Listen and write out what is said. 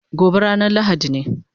Gobe ranan lahadi ne